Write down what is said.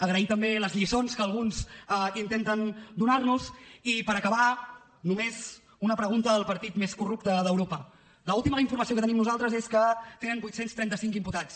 agrair també les lliçons que alguns intenten donar nos i per acabar només una pregunta al partit més corrupte d’europa l’última informació que tenim nosaltres és que tenen vuit cents i trenta cinc imputats